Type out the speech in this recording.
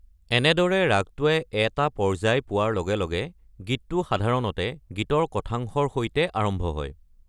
এনেদৰে ৰাগটোৱে এটা পৰ্যায় পোৱাৰ লগে লগে, গীতটো সাধাৰণতে গীতৰ কথাংশৰ সৈতে আৰম্ভ হয়।